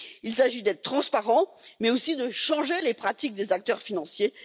Il s'agit d'être transparent, mais aussi de changer les pratiques des acteurs financiers.